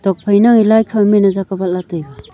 tokphai ne a lai khaw men jak vat lah taiga.